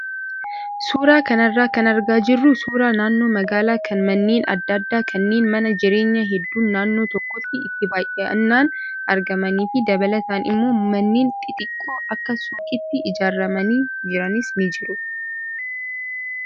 Suuraa kanarraa kan argaa jirru suuraa naannoo magaalaa kan manneen adda addaa kanneen mana jireenyaa hedduun naannoo tokkotti itti baay'inaan argamanii fi dabalataan immoo manneen xixiqqoon akka suuqiitti ijaaramanii jiranis ni jiru.